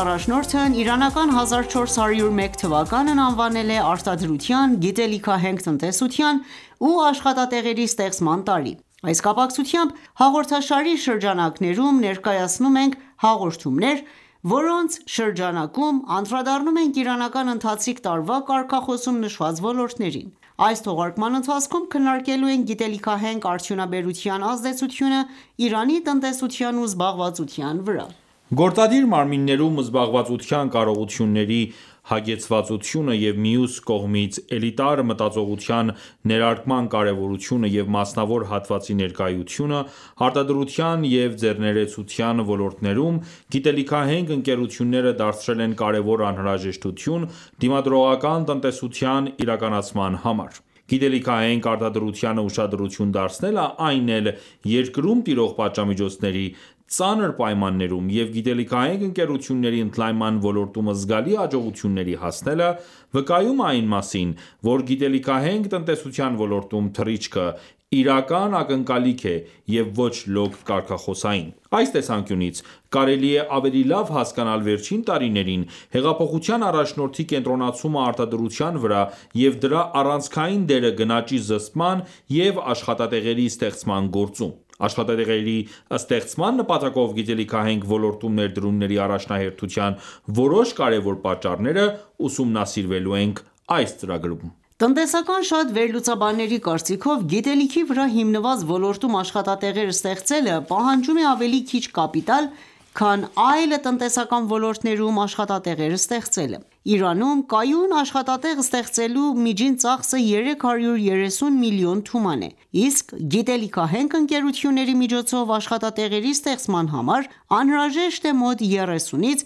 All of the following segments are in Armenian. առաջնորդն իրանական 1401 թվականն անվանել է «Արտադրության, գիտելիքահենք տնտեսության ու աշխատատեղերի ստեղծման տարի»:Այս կապակցությամբ, հաղորդաշարի շրջանակներում ներկայացնում ենք հաղորդումներ, որոնց շրջանակում անդրադառնում ենք իրանական ընթացիկ տարվա կարգախոսում նշված ոլորտներին:Այս թողարկման ընթացքում քննարկելու ենք գիտելիքահենք արդյունաբերության ազդեցությունը Իրանի տնտեսության ու զբաղվածության վրա: Գործադիր մարմիններում զբաղվածության կարողությունների հագեցվածությունը և մյուս կողմից էլիտար մտածողության ներարկման կարևորությունը և մասնավոր հատվածի ներկայությունը արտադրության և ձեռներեցության ոլորտներում ,գիտելիքահենք ընկերությունները դարձրել են կարևոր անհրաժեշտություն դիմադրողական տնտեսության իրականացման համար:Գիտելիքահենք արտադրությանը ուշադրություն դարձնելը, այն էլ երկրում տիրող պատժամիջոցների ծանր պայմաններում և գիտելիքահենք ընկերությունների ընդլայնման ոլորտում զգալի հաջողությունների հասնելը վկայում է այն մասին, որ գիտելիքահենք տնտեսության ոլորտում թռիչքը՝ իրական ակնկալիք է և ոչ լոկ կարգախոսային: Այս տեսանկյունից կարելի է ավելի լավ հասկանալ վերջին տարիներին հեղափոխության առաջնորդի կենտրոնացումը արտադրության վրա և դրա առանցքային դերը գնաճի զսպման և աշխատատեղերի ստեղծման գործում։ Աշխատատեղերի ստեղծման նպատակով գիտելիքահենք ոլորտում ներդրումների առաջնահերթության որոշ կարևոր պատճառները ուսումնասիրվելու ենք այս ծրագրում: Տնտեսական շատ վերլուծաբանների կարծիքով՝ գիտելիքի վրա հիմնված ոլորտում աշխատատեղեր ստեղծելը պահանջում է ավելի քիչ կապիտալ, քան այլ տնտեսական ոլորտներում աշխատատեղեր ստեղծելը:Իրանում կայուն աշխատատեղ ստեղծելու միջին ծախսը 330 միլիոն թուման է, իսկ գիտելիքահենք ընկերությունների միջոցով աշխատատեղերի ստեղծման համար անհրաժեշտ է մոտ 30-ից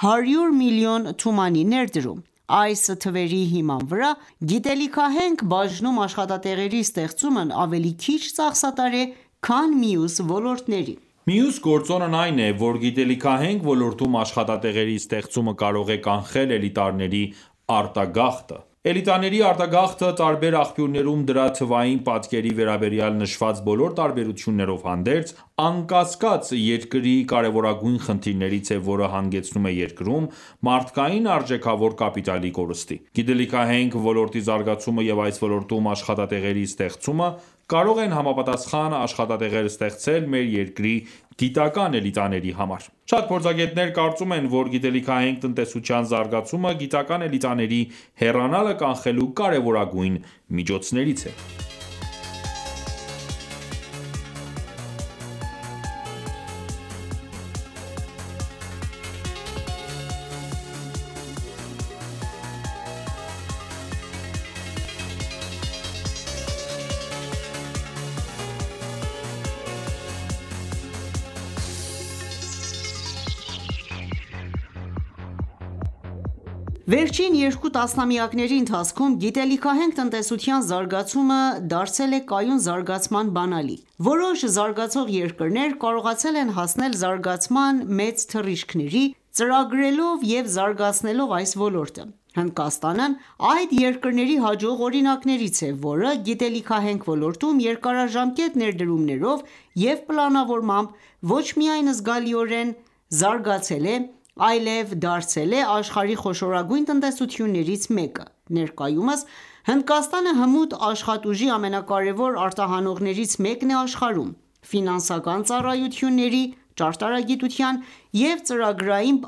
100 միլիոն թումանի ներդրում: Այս թվերի հիման վրա գիտելիքահենք բաժնում աշխատատեղերի ստեղծումն ավելի քիչ ծախսատար է, քան մյուս ոլորտները: Մյուս գործոնն այն է, որ գիտելիքահենք ոլորտում աշխատատեղերի ստեղծումը կարող է կանխել էլիտաների արտագաղթը:Էլիտաների արտագաղթը, տարբեր աղբյուրներում դրա թվային պատկերի վերաբերյալ նշված բոլոր տարբերություններով հանդերձ, անկասկած, երկրի կարևորագույն խնդիրներից է, որը հանգեցնում է երկրում, մարդկային արժեքավոր կապիտալի կորստի։ Գիտելիքահենք ոլորտի զարգացումը և այս ոլորտում աշխատատեղերի ստեղծումը, կարող են համապատասխան աշխատատեղեր ստեղծել մեր երկրի գիտական ​​էլիտաների համար։ Շատ փորձագետներ կարծում են, որ գիտելիքահենք տնտեսության զարգացումը գիտական ​​էլիտաների հեռանալը կանխելու կարևորագույն միջոցներից է։ Վերջին երկու տասնամյակների ընթացքում գիտելիքահենք տնտեսության զարգացումը դարձել է կայուն զարգացման բանալին:Որոշ զարգացող երկրներ կարողացել են հասնել զարգացման մեծ թռիչքների՝ ծրագրելով և զարգացնելով այս ոլորտը:Հնդկաստանն այդ երկրների հաջող օրինակներից է, որը գիտելիքահենք ոլորտում երկարաժամկետ ներդրումներով և պլանավորմամբ ոչ միայն զգալիորեն զարգացել է, այլև դարձել է աշխարհի խոշորագույն տնտեսություններից մեկը:Ներկայումս Հնդկաստանը հմուտ աշխատուժի ամենակարևոր արտահանողներից մեկն է աշխարհում ,ֆինանսական ծառայությունների, ճարտարագիտության և ծրագրային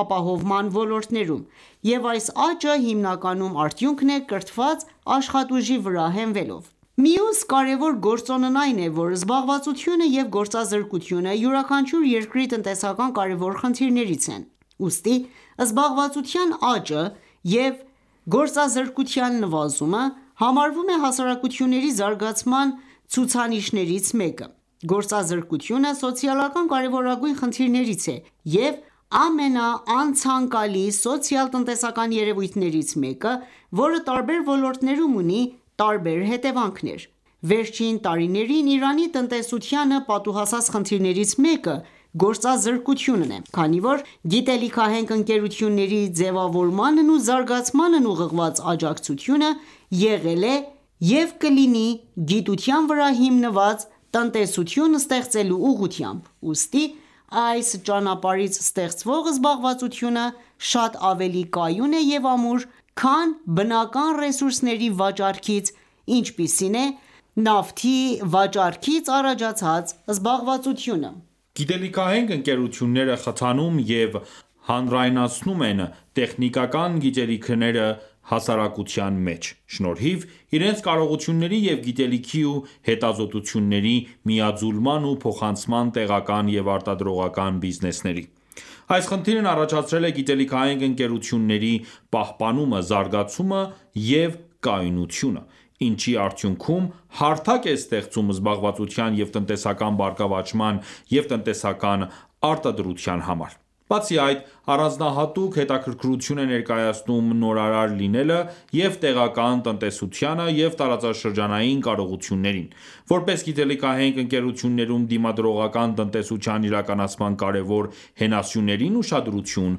ապահովման ոլորտներում, և այս աճը հիմնականում արդյունքն է ՝կրթված աշխատուժի վրա հենվելով: Մյուս կարևոր գործոնն այն է, որ զբաղվածությունը և գործազրկությունը, յուրաքանչյուր երկրի տնտեսական կարևոր խնդիրներից են, ուստի զբաղվածության աճը և գործազրկության նվազումը համարվում է հասարակությունների զարգացման ցուցիչներից մեկը։ Գործազրկությունը սոցիալական կարևորագույն խնդիրներից է և ամենաանցանկալի սոցիալ-տնտեսական երևույթներից մեկը, որը տարբեր ոլորտներում ունի տարբեր հետևանքներ։ Վերջին տարիներին Իրանի տնտեսությանը պատուհասած խնդիրներից մեկը գործազրկությունն է։Քանի որ գիտելիքահենք ընկերությունների ձևավորմանն ու զարգացմանն ուղղված աջակցությունը եղել է և կլինի գիտության վրա հիմնված տնտեսություն ստեղծելու ուղղությամբ, ուստի այս ճանապարհից ստեղծվող զբաղվածությունը շատ ավելի կայուն և ամուր է, քան բնական ռեսուրսների վաճառքից, ինչպիսին է նավթի վաճառքից առաջացած զբաղվածությունը:Գիտելիքահենք ընկերությունները խթանում և հանրայնացնում են տեխնիկական գիտելիքները հասարակության մեջ՝ շնորհիվ իրենց կարողությունների և գիտելիքի ու հետազոտությունների միաձուլման ու փոխանցման տեղական և արտադրողական բիզնեսների:Այս խնդիրն առաջացրել է գիտելիքահենք ընկերությունների պահպանումը, զարգացումը և կայունությունը, ինչի արդյունքում հարթակ է ստեղծում զբաղվածության և տնտեսական բարգավաճման և տնտեսական արտադրության համար։ Բացի այդ, առանձնահատուկ հետաքրքրություն է ներկայացնում նորարար լինելը և տեղական տնտեսությանը և տարածաշրջանային կարողություններին` որպես գիտելիքահենք ընկերություններում դիմադրողական տնտեսության իրականացման կարևոր հենասյուներին ուշադրություն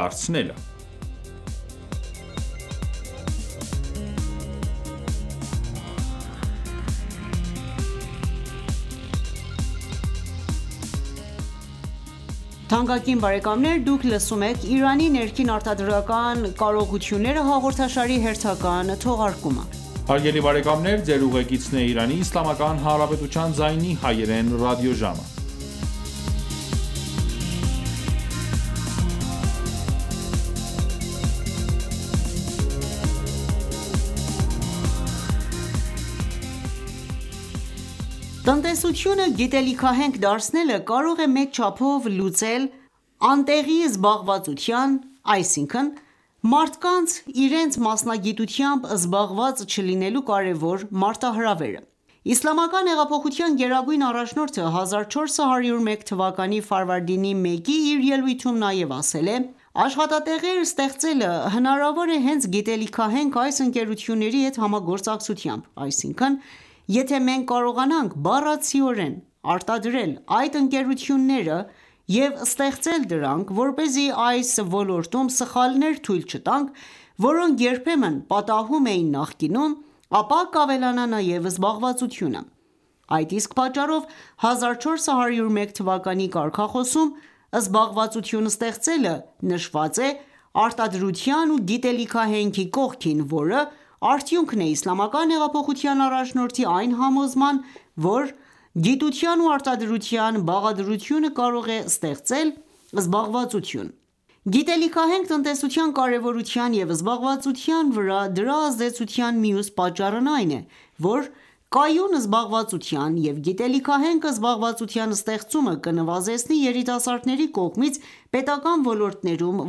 դարձնելը: Տնտեսությունը գիտելիքահենք դարձնելը կարող է մեծ չափով լուծել անտեղի զբաղվածության (այսինքն՝ մարդկանց իրենց մասնագիտությամբ զբաղված չլինելու) կարևոր մարտահրավերը։ Իսլամական հեղափոխության գերագույն առաջնորդը 1401 թվականի ֆարվարդինի 1-ի իր ելույթում նաև ասել է.«Աշխատատեղեր ստեղծելը հնարավոր է հենց գիտելիքահենք այս ընկերությունների հետ համագործակցությամբ:Այսինքն՝ եթե մենք կարողանանք բառացիորեն արտադրել այդ ընկերությունները և ստեղծել դրանք, որպեսզի այս ոլորտում սխալներ թույլ չտանք, որոնք երբեմն պատահում էին նախկինում, ապա կավելանա նաև զբաղվածությունը»:Այդ իսկ պատճառով 1401 թվականի կարգախոսում «զբաղվածություն ստեղծելը»նշված է «արտադրության ու գիտելիքահենք»-ի կողքին ,որը արդյունքն է իսլամական հեղափոխության առաջնորդի այն համոզման ,որ գիտության ու արտադրության բաղադրությունը կարող է ստեղծել զբաղվածություն: Գիտելիքահենք տնտեսության կարևորության և զբաղվածության վրա դրա ազդեցության մյուս պատճառն այն է,որ կայուն զբաղվածության և գիտելիքահենք զբաղվածության ստեղծումը կնվազեցնի երիտասարդների կողմից պետական ​​ոլորտներում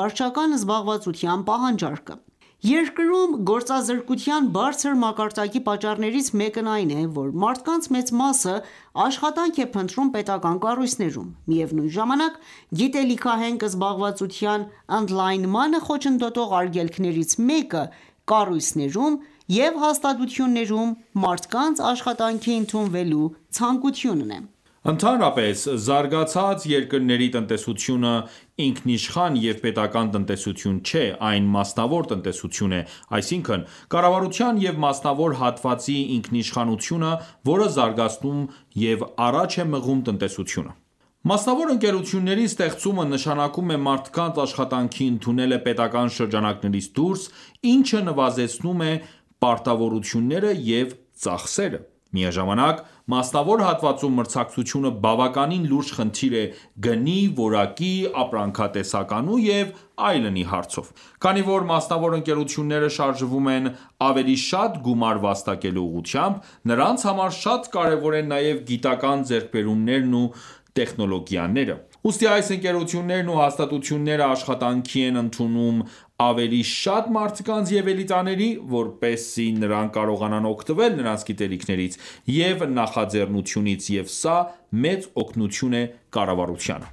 վարչական զբաղվածության պահանջարկը:Երկրում գործազրկության բարձր մակարդակի պատճառներից մեկն այն է, որ մարդկանց մեծ մասը աշխատանք է փնտրում պետական ​​կառույցներում։ Միևնույն ժամանակ, գիտելիքահենք զբաղվածության ընդլայնմանը խոչընդոտող արգելքներից մեկը կառույցներում և հաստատություններում մարդկանց աշխատանքի ընդունվելու ցանկությունն է։Ընդհանրապես, զարգացած երկրների տնտեսությունը ինքնիշխան և պետական ​​տնտեսություն չէ, այն մասնավոր տնտեսություն է, այսինքն՝ կառավարության և մասնավոր հատվածի ինքնիշխանությունը, որը զարգացնում ու առաջ է մղում տնտեսությունը։ Մասնավոր ընկերությունների ստեղծումը նշանակում է մարդկանց աշխատանքի ընդունելը պետական ​​շրջանակներից դուրս, ինչը նվազեցնում է պարտավորությունները և ծախսերը:Միաժամանակ, մասնավոր հատվածում մրցակցությունը բավականին լուրջ խնդիր է գնի, որակի, ապրանքատեսականու եւ այլնի հարցով:Քանի որ մասնավոր ընկերությունները շարժվում են ավելի շատ գումար վաստակելու ուղղությամբ, նրանց համար շատ կարևոր են նաև գիտական ​​ձեռքբերումներն ու տեխնոլոգիաները։ Ուստի այս ընկերություններն ու հաստատությունները աշխատանքի են ընդունում ավելի շատ մարդկանց և էլիտաների, որպեսզի նրանք կարողանան օգտվել նրանց գիտելիքներից և նախաձեռնությունից, և սա մեծ օգնություն է կառավարությանը։